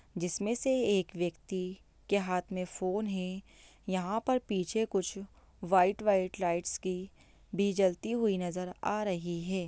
जिसमें से एक व्यक्ति के हाथ में फ़ोन है यहाँ पर पीछे कुछ व्हाइट -व्हाइट लाइट्स की भी जलती हुई नज़र आ रही हैं।